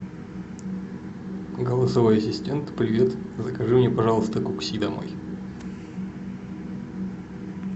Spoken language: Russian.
голосовой ассистент привет закажи мне пожалуйста кукси домой